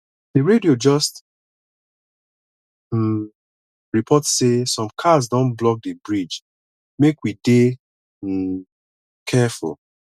the radio just um report sey some cars don block di bridge make we dey um careful